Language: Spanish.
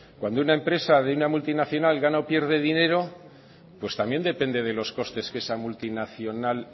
cuando una empresa de una multinacional gana o pierde dinero pues también depende de los costes que esa multinacional